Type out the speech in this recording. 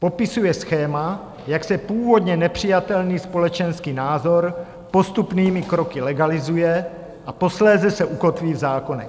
Popisuje schéma, jak se původně nepřijatelný společenský názor postupnými kroky legalizuje a posléze se ukotví v zákonech.